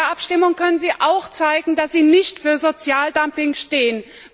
Morgen in der Abstimmung können Sie zeigen, dass Sie nicht für Sozialdumping stehen.